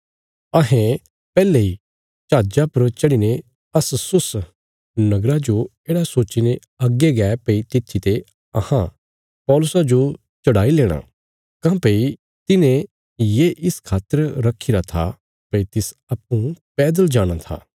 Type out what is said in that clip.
अहें पैहले इ जहाजा पर चढ़ीने अस्सुस नगरा जो येढ़ा सोच्चीने अग्गे गै भई तित्थी ते अहां पौलुसा जो चढ़ाई लेणा काँह्भई तिने ये इस खातर रखीरा था भई तिस अप्पूँ पैदल जाणा था